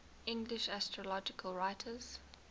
english astrological writers